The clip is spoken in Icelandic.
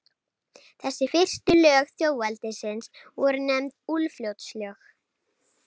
Þessi fyrstu lög þjóðveldisins voru nefnd Úlfljótslög.